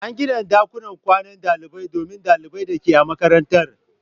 An gina ɗakunan kwanan dalibai domin ɗalibai da ke a makarantar.